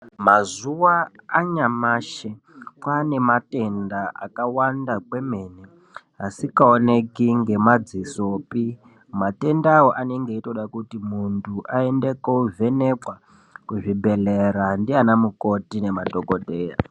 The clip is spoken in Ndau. Mazuva anyamashi kwaane matenda akawanda kwemene asingaoneke ngemazisopi matendawo anonga achitoda kuti muntu aende kovhenekwa kuzvibhedhlera naana mukoti nemadhokodheya.